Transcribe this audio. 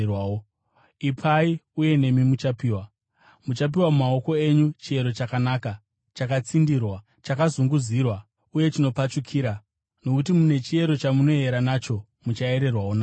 Ipai, uye nemi muchapiwa. Muchapiwa mumaoko enyu chiyero chakanaka, chakatsindirwa, chakazunguzirwa uye chinopfachukira. Nokuti nechiyero chamunoyera nacho, muchayererwawo nacho.”